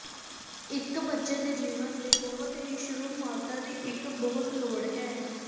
ਇੱਕ ਬੱਚੇ ਦੇ ਜੀਵਨ ਦੇ ਬਹੁਤ ਹੀ ਸ਼ੁਰੂ ਮਾਤਾ ਦੀ ਇੱਕ ਬਹੁਤ ਲੋੜ ਹੈ